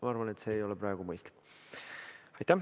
Ma arvan, et see ei ole praegu mõistlik.